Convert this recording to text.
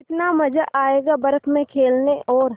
कितना मज़ा आयेगा बर्फ़ में खेलने में और